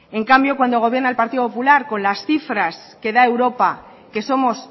en cambio cuando gobierna el partido popular con la cifras que da europa que somos